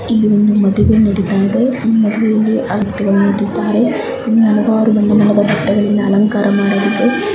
ಇಲ್ಲಿ ಒಂದು ಮಾಡುವೆ ನಡೀತಾ ಇದೆ ಮದುವೆಯಲ್ಲಿ ಹಲವಾರು ಜನರು ನಿಂತಿದ್ದಾರೆ ಇಲ್ಲಿ ಹಲವಾರು ಬಟ್ಟೆಗಳಿಂದ ಅಲಂಕಾರ ಮಾಡಲಾಗಿದೆ.